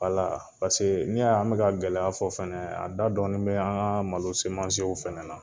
paseke n'i y'a y'an bɛka a gɛlɛya fɔ fɛnɛ, a da dɔɔni bɛ an ka malo fɛnɛ na.